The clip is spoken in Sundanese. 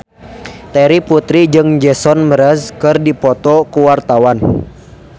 Terry Putri jeung Jason Mraz keur dipoto ku wartawan